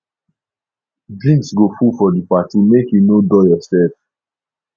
drinks go full for di party make you no dull yoursef